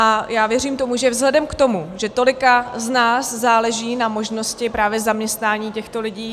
A já věřím tomu, že vzhledem k tomu, že tolika z nás záleží na možnosti právě zaměstnání těchto lidí -